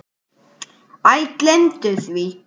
Æ, gleymdu því.